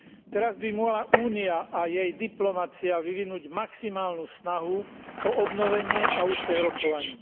Teraz by mala Únia a jej diplomacia vyvinúť maximálnu snahu o obnovenie a úspech rokovaní.